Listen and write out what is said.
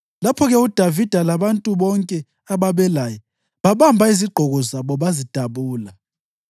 Lapho-ke uDavida labantu bonke ababelaye babamba izigqoko zabo bazidabula.